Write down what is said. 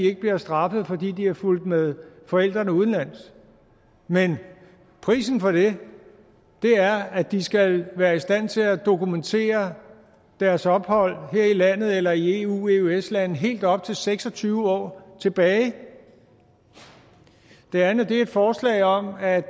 ikke bliver straffet fordi de er fulgt med forældrene udenlands men prisen for det er at de skal være i stand til at dokumentere deres ophold her i landet eller i et eu i eøs land helt op til seks og tyve år tilbage det andet er et forslag om at